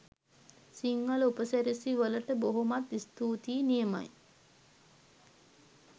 සිංහල උපසිරැසි වලට බොහොමත්ම ස්තූතියි! නියමයි.